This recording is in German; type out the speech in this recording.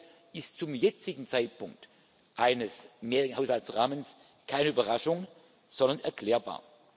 Euro ist zum jetzigen Zeitpunkt eines mehrjährigen Haushaltsrahmens keine Überraschung, sondern erklärbar.